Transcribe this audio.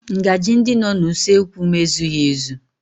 Ngaji ndị nọ n'usekwu m ezughị ezu